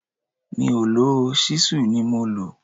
Mi ò lò ó, ṣísù ni mo lò